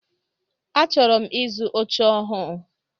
Achọrọ m ịzụ oche ọhụụ.